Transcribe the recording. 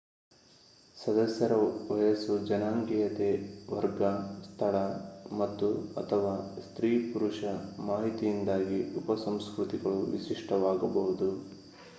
ಸದಸ್ಯರ ವಯಸ್ಸು ಜನಾಂಗೀಯತೆ ವರ್ಗ ಸ್ಥಳ ಮತ್ತು/ಅಥವಾ ಸ್ತ್ರೀ/ಪುರುಷ ಮಾಹಿತಿಯಿಂದಾಗಿ ಉಪಸಂಸ್ಕೃತಿಗಳು ವಿಶಿಷ್ಟವಾಗಬಹುದು